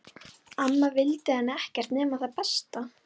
Amma vildi henni ekkert nema það besta.